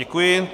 Děkuji.